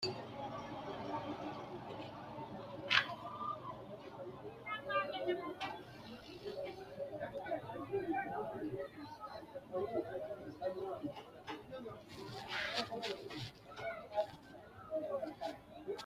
tini maa xawissanno misileeti ? mulese noori maati ? hiissinannite ise ? tini kultannori maati? Seennu Kuni ayii seenetti? maa loosanni nooreetti?